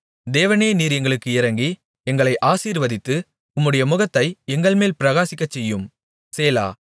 தேவனே நீர் எங்களுக்கு இரங்கி எங்களை ஆசீர்வதித்து உம்முடைய முகத்தை எங்கள்மேல் பிரகாசிக்கச்செய்யும் சேலா